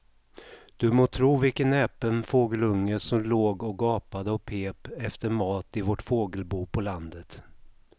Du må tro vilken näpen fågelunge som låg och gapade och pep efter mat i vårt fågelbo på landet.